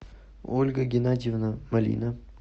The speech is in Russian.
ольга геннадьевна малина